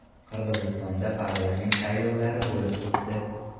Qirg‘izistonda parlament saylovlari bo‘lib o‘tdi.